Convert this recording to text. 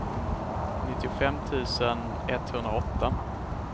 nittiofem tusen etthundraåtta